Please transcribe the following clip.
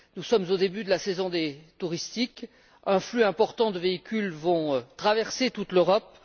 Nous sommes au début de la saison touristique. Un flux important de véhicules va ainsi traverser toute l'Europe.